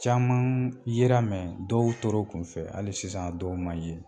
Caman yera dɔw tora u kunfɛ hali sisan dɔw ma ye